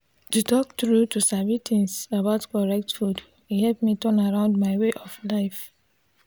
to talk true to sabi things about correct food e help me turn around my way of life.